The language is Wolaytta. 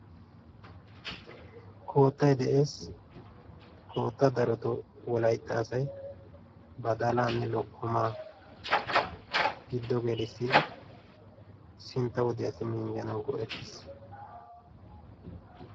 Koottay de'ees, koottaa darotoo wolaytta asay balaanne lokkomaa giddo gelissiddi sintta wodiyaassi minjjanawu go'ettees.